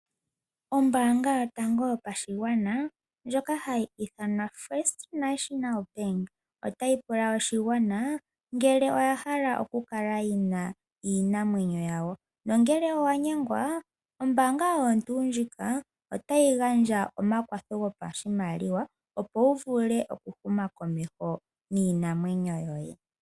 Ombaanga yotango yopashigwana ndjoka hayi ithanwa First National Bank otayi pula oshigwana ngele oya hala oku kala yina iinamwenyo yawo nongele owa nyengwa ombaanga oyo tuu ndjika otayi gandja omakwatho gopashimaliwa, opo wu vule oku huma komeho niinamwenyo yoye.